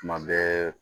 Tuma bɛɛ